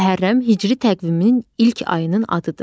Məhərrəm hicri təqviminin ilk ayının adıdır.